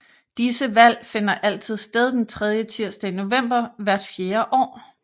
Disse valg finder altid sted den tredje tirsdag i november hvert fjerde år